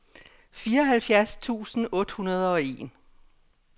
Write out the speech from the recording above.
fireoghalvfjerds tusind otte hundrede og en